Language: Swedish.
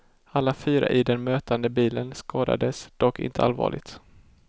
Alla fyra i den mötande bilen skadades, dock inte allvarligt.